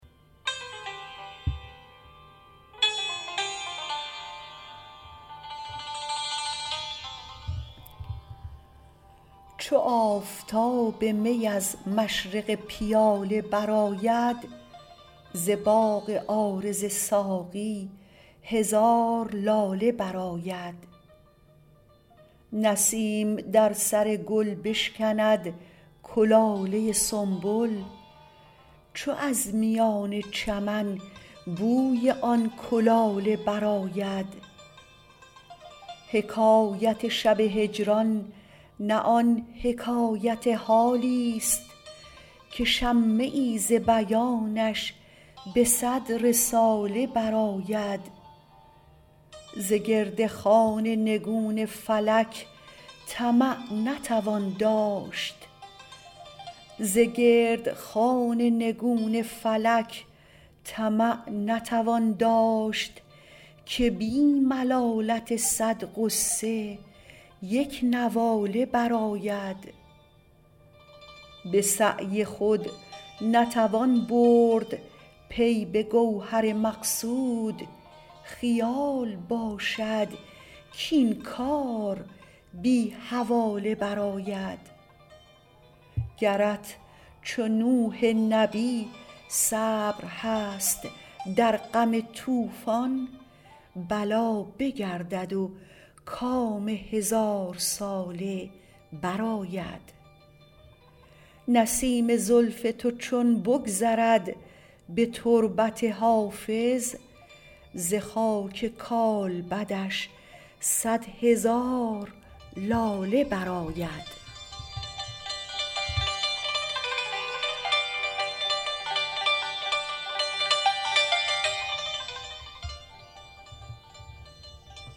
چو آفتاب می از مشرق پیاله برآید ز باغ عارض ساقی هزار لاله برآید نسیم در سر گل بشکند کلاله سنبل چو از میان چمن بوی آن کلاله برآید حکایت شب هجران نه آن حکایت حالیست که شمه ای ز بیانش به صد رساله برآید ز گرد خوان نگون فلک طمع نتوان داشت که بی ملالت صد غصه یک نواله برآید به سعی خود نتوان برد پی به گوهر مقصود خیال باشد کاین کار بی حواله برآید گرت چو نوح نبی صبر هست در غم طوفان بلا بگردد و کام هزارساله برآید نسیم زلف تو چون بگذرد به تربت حافظ ز خاک کالبدش صد هزار لاله برآید